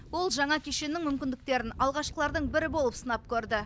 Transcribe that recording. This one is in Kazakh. ол жаңа кешеннің мүмкіндіктерін алғашқылардың бірі болып сынап көрді